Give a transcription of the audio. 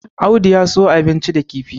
Audu ya siyo abinci da kifi